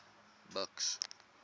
buks